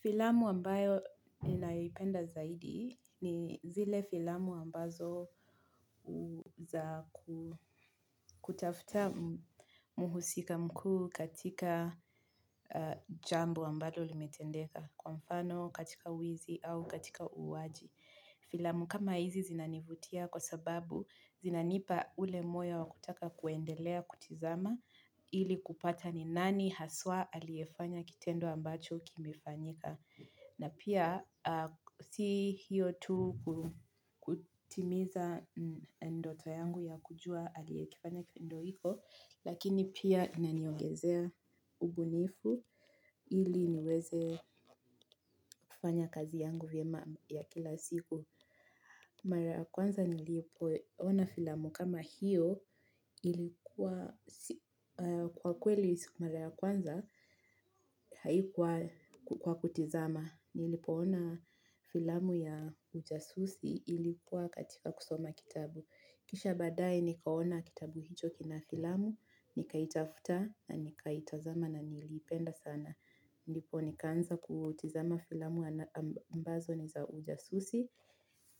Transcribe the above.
Filamu ambayo ninayoipenda zaidi ni zile filamu ambazo u zaku kutafuta muhusika mkuu katika jambo ambalo limetendeka kwa mfano katika wizi au katika uuaji. Filamu kama hizi zinanivutia kwa sababu zinanipa ule moyo wa kutaka kuendelea kutizama ili kupata ni nani haswa aliyefanya kitendo ambacho kimefanyika. Na pia si hiyo tu kutimiza ndoto yangu ya kujua aliyekifanya kitendo hiko, lakini pia inaniongezea ubunifu ili niweze fanya kazi yangu vyema ya kila siku. Mara ya kwanza nilipoona filamu kama hiyo ilikuwa si kwa kweli mara kwanza haikuwa kwa kutizama. Nilipoona filamu ya ujasusi ilikuwa katika kusoma kitabu. Kisha baadae nikaona kitabu hicho kina filamu, nikaitafuta na nikaitazama na niliipenda sana. Ndipo nikaanza kutizama filamu ambazo ni za ujasusi